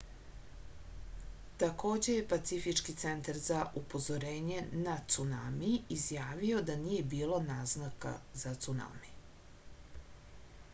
takođe je pacifički centar za upozorenje na cunami izjavio da nije bilo naznaka za cunami